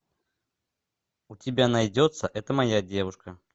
у тебя найдется это моя девушка